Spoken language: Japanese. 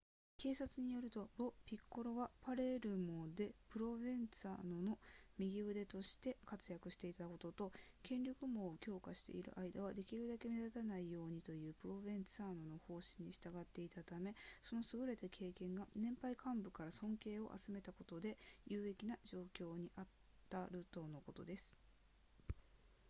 警察によるとロピッコロはパレルモでプロヴェンツァーノの右腕として活躍していたことと権力網を強化している間はできるだけ目立たないようにというプロヴェンツァーノの方針に従っていたためその優れた経験が年配幹部たちから尊敬を集めたことで有利な状況にあるとのことです